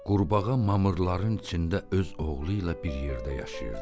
Qurbağa mamırların içində öz oğlu ilə bir yerdə yaşayırdı.